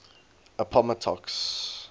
appomattox